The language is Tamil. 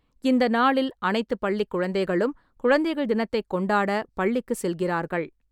இந்த நாளில் அனைத்து பள்ளிக் குழந்தைகளும் குழந்தைகள் தினத்தைக் கொண்டாட பள்ளிக்கு செல்கிறார்கள்.